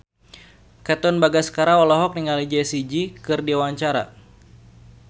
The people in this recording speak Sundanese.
Katon Bagaskara olohok ningali Jessie J keur diwawancara